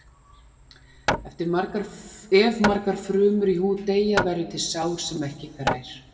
Ef margar frumur í húð deyja verður til sár sem ekki grær.